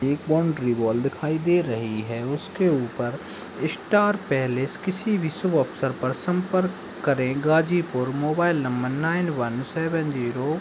एक boundary wall दिखाई दे रही है। उसके ऊपर स्टार पैलेस किसी भी शुभ अवसर पर संपर्क करे Ghazipur mobile number nine one seven zero --